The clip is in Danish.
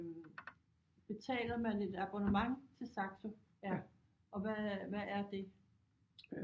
Betaler man et abonnement til Saxo ja og hvad hvad er det